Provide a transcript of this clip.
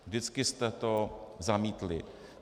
Vždycky jste to zamítli.